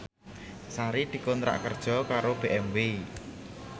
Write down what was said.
Sari dikontrak kerja karo BMW